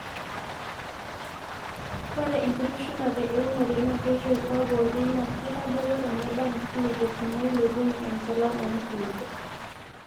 ore enkitushulate eunore naa keitoip abori naa keitadoyio eneba inkulupuok neilepunye enchalan oo nkulupuok